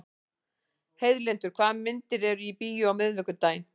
Heiðlindur, hvaða myndir eru í bíó á miðvikudaginn?